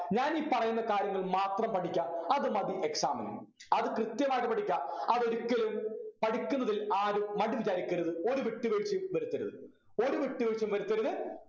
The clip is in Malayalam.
ഞാൻ ഈ പറയുന്ന കാര്യങ്ങൾ മാത്രം പഠിക്കാ അതുമതി exam നു അത് കൃത്യമായിട്ട് പഠിക്കാ അതൊരിക്കലും പഠിക്കുന്നതിൽ ആരും മടി വിചാരിക്കരുത് ഒരു വിട്ടുവീഴ്ചയും വരുത്തരുത് ഒരു വിട്ടുവീഴ്ചയും വരുത്തരുത്